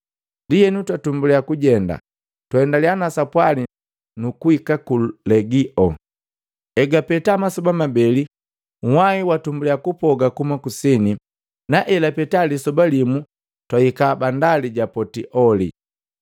Ndienu twatumbulia kujenda, twaendaliya na sapwali nukuhika ku Legio. Elapita masoba mabeli, nhwai watumbuliya kupoga kuhuma kusini, na egapeta lisoba limu twahika bandali ja Potioli.